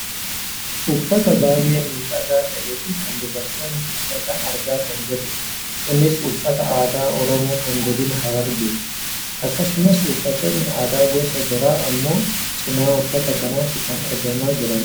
uffata baayyee miidhagaa ta'ee fi kan dubartoonni uffatan argaa kan jirrudha. kunis uffata aadaa oromoo kan godina harargeeti. akkasumas uffatoonni aadaa gosa biraa ammoo cinaa uffata kanaatti kan argamaa jiranidha.